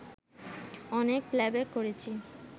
অনেক প্লেব্যাক করেছি